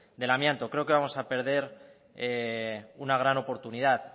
del amianto creo que vamos a perder una gran oportunidad